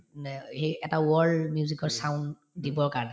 এটা world music ৰ sound দিবৰ কাৰণে